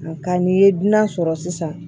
Nka n'i ye dunan sɔrɔ sisan